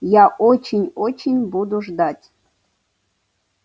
я очень очень буду ждать